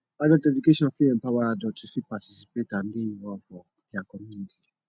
adult education fit empower adults to fit participate and dey involved for their community